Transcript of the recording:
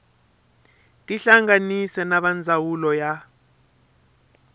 tihlanganise na va ndzawulo ya